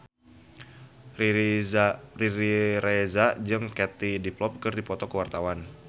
Riri Reza jeung Katie Dippold keur dipoto ku wartawan